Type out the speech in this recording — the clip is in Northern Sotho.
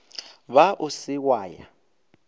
ba o se wa ya